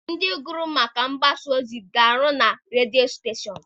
Ndị gụrụ maka mgbasaozi ga-arụ na redio steshọn.